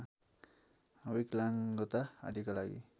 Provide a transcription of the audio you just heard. विकलाङ्गता आदिका लागि